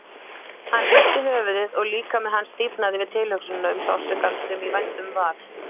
Hann hristi höfuðið og líkami hans stífnaði við tilhugsunina um sársaukann sem í vændum var.